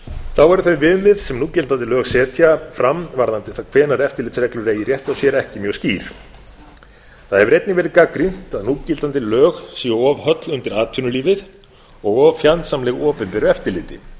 þá eru þau viðmið sem núgildandi lög setja fram varðandi það hvenær eftirlitsreglur eigi rétt á sér ekki mjög skýr það hefur einnig verið gagnrýnt að núgildandi lög séu of höll undir atvinnulífið og of fjandsamleg opinberu eftirliti